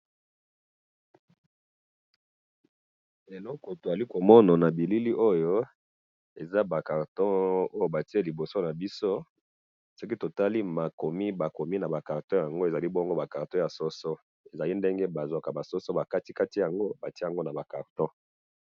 Eloko tozali komona na bilili oyo eza ba carton oyo batiye liboso na biso soki totali makomi yango eza lokola ba soso ba kati kati yango batiye nagon naba carton.